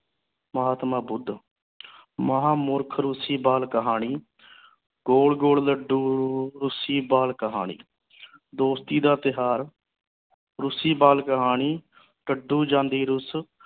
ਮਹਾਤਮਾ ਬੁੱਧ ਮਹਾ ਮੂਰਖ ਰੂਸੀ ਬਾਲ ਕਹਾਣੀ ਗੋਲ ਗੋਲ ਲੱਡੂ ਅਹ ਰੂਸੀ ਬਾਲ ਕਹਾਣੀ ਦੋਸਤੀ ਦਾ ਤਿਓਹਾਰ ਰੂਸੀ ਬਾਲ ਕਹਾਣੀ ਡੱਡੂ ਜਾਂਦੀ ਰੁੱਸ